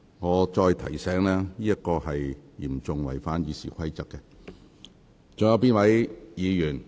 我提醒議員，有關行為嚴重違反《議事規則》。